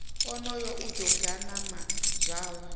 onoyo o ḓi ganama zwawe